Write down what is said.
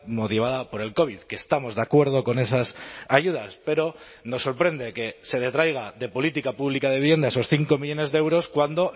motivada por el covid que estamos de acuerdo con esas ayudas pero nos sorprende que se detraiga de política pública de vivienda esos cinco millónes de euros cuando